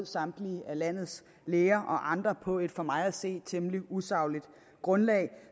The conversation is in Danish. samtlige landets læger og andre på et for mig at se temmelig usagligt grundlag